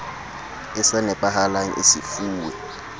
e sa nepahalang e sefuwe